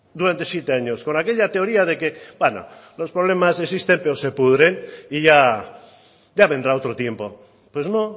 durante siete años con aquella teoría de que bueno los problemas existen pero se pudren y ya vendrá otro tiempo pues no